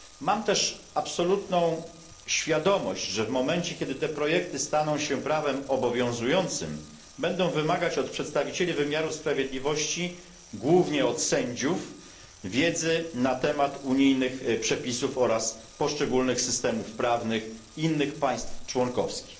Mam też absolutną świadomość, że w momencie kiedy te projekty staną się prawem obowiązującym, będą wymagać od przedstawicieli wymiaru sprawiedliwości głównie od sędziów wiedzy na temat unijnych przepisów oraz poszczególnych systemów prawnych innych państw członkowskich.